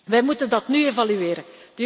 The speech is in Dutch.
Wij moeten dat nu evalueren.